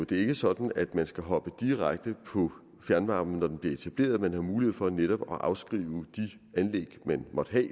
det er ikke sådan at man skal hoppe direkte på fjernvarmen når den bliver etableret man har mulighed for netop at afskrive de anlæg man måtte